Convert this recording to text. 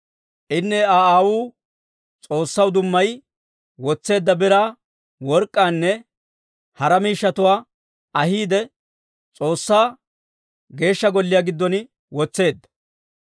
Inne Aa aawuu S'oossaw dummayi wotseedda biraa, work'k'aanne hara miishshatuwaa ahiide, S'oossaa Geeshsha Golliyaa giddon wotseedda.